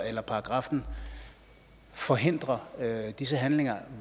eller paragraffen forhindrer disse handlinger